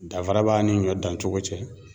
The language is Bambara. Danfara b'a ni ɲɔ dancogo cɛ.